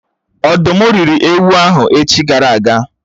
Ọ̀dụ́m rị́ri ewu ahụ echi gara aga